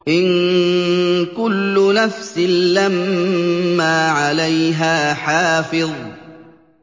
إِن كُلُّ نَفْسٍ لَّمَّا عَلَيْهَا حَافِظٌ